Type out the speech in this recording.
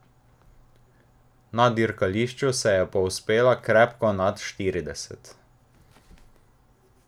Na dirkališču se je povzpela krepko nad štirideset.